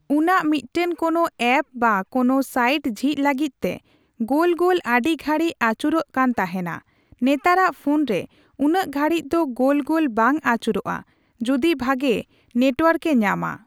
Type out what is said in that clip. ᱩᱱᱟᱜ ᱢᱤᱫᱴᱮᱱ ᱠᱳᱱᱳ ᱮᱯᱥ ᱵᱟ ᱠᱳᱱᱳ ᱥᱟᱭᱤᱰ ᱡᱷᱤᱡ ᱞᱟᱜᱤᱫᱛᱮ ᱜᱳᱞ ᱜᱳᱞ ᱟᱹᱰᱤ ᱜᱷᱟᱹᱲᱤᱡ ᱟᱹᱪᱩᱨᱚᱜ ᱠᱟᱱ ᱛᱟᱦᱮᱱᱟ ᱾ ᱱᱮᱛᱟᱨᱟᱜ ᱯᱷᱳᱱ ᱨᱮ ᱩᱱᱟᱹᱜ ᱜᱷᱟᱲᱤᱡ ᱫᱚ ᱜᱳᱞ ᱜᱳᱞ ᱵᱟᱝ ᱟᱹᱪᱩᱨᱚᱜᱼᱟ᱾ ᱡᱩᱫᱤ ᱵᱷᱟᱹᱜᱤ ᱱᱮᱴᱣᱟᱨᱠ ᱮ ᱧᱟᱢᱟ ᱾